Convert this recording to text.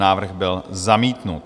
Návrh byl zamítnut.